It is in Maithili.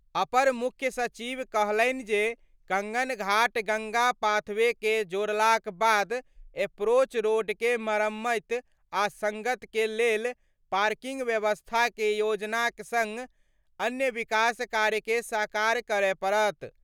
अपर मुख्य सचिव कहलनि जे कंगन घाट गंगा पाथवे के जोड़लाक बाद एप्रोच रोड के मरम्मत आ संगत के लेल पार्किंग व्यवस्था के योजना के संग अन्य विकास कार्य के साकार करय पड़त।